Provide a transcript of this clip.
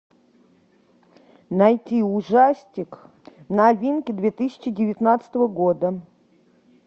найти ужастик новинки две тысячи девятнадцатого года